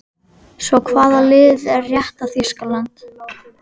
Svo hvaða lið er rétta Þýskaland?